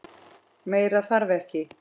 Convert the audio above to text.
Meira þarf ekki.